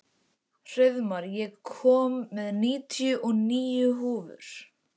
Hreiðmar, ég kom með níutíu og níu húfur!